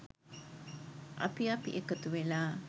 අපි අපි එකතුවෙලා.